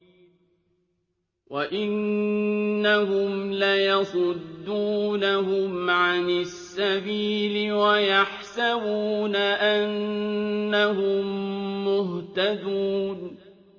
وَإِنَّهُمْ لَيَصُدُّونَهُمْ عَنِ السَّبِيلِ وَيَحْسَبُونَ أَنَّهُم مُّهْتَدُونَ